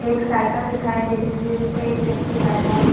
एक साइकिल दिखाई दिया जी-जिसपे एक व्यक्ति बैठा है।